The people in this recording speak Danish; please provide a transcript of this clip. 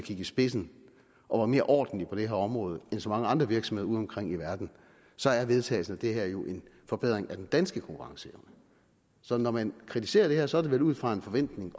i spidsen og er mere ordentlige på det her område end så mange andre virksomheder udeomkring i verden så er vedtagelsen af det her jo en forbedring af den danske konkurrenceevne så når man kritiserer det her er det vel ud fra en forventning